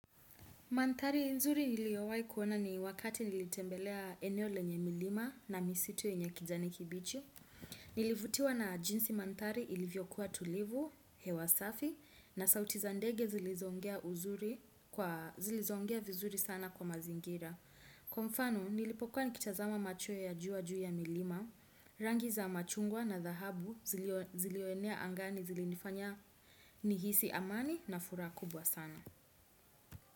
Manthari nzuri niliowai kuona ni wakati nilitembelea eneo lenye milima na misitu yenye kijani kibichi. Nilivutiwa na jinsi manthari ilivyokuwa tulivu, hewa safi, na sauti za ndege zilizo ongea uzuri zilizo ongea vizuri sana kwa mazingira. Kwa mfano, nilipokuwa nikitazama macho ya juu wa juu ya milima, rangi za machungwa na dhahabu zilionea angani zilinifanya nihisi amani na furaha kubwa sana.